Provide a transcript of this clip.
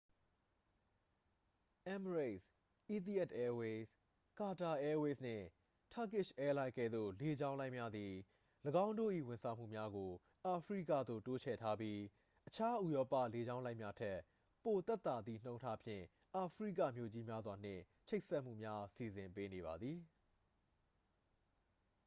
emirates etihad airways qatar airways နှင့် turkish airlines ကဲ့သို့ လေကြောင်းလိုင်းများသည် ၎င်းတို့၏ ဝန်ဆောင်မှုများကို အာဖရိကသို့ တိုးချဲ့ထားပြီး အခြား ဥရောပ လေကြောင်းလိုင်းများထက် ပိုသက်သာသည့်နှုန်းထားဖြင့် အာဖရိကမြို့ကြီးများစွာနှင့် ချိတ်ဆက်မှုများ စီစဉ်ပေးနေပါသည်